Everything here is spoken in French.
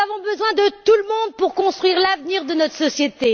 Nous avons besoin de tout le monde pour construire l'avenir de notre société.